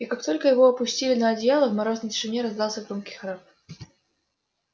и как только его опустили на одеяло в морозной тишине раздался громкий храп